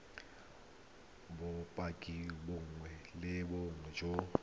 bopaki bongwe le bongwe jo